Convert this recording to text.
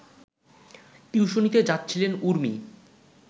টিউশনিতে যাচ্ছিলেন উর্মি